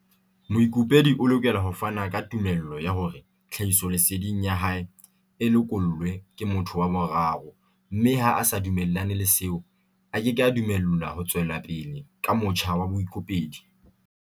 Moikopedi o lokela ho fana ka tumello ya hore tlhahisoleseding ya hae e lekolwe ke motho wa boraro mme ha a sa dumellane le seo, a keke a dumellwa ho tswela pele ka motjha wa boikopedi.